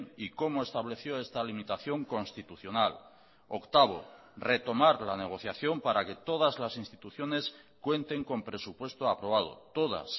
y cómo estableció esta limitación constitucional octavo retomar la negociación para que todas las instituciones cuenten con presupuesto aprobado todas